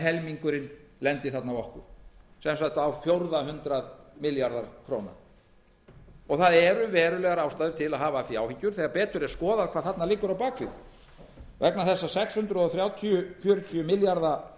helmingurinn lendi þarna á okkur sem sagt á fjórða hundrað milljarða króna verulegar ástæður eru til að hafa af því áhyggjur þegar betur er skoðað hvað þarna liggur á bak við vegna þess að sex hundruð þrjátíu til sex hundruð fjörutíu milljarða króna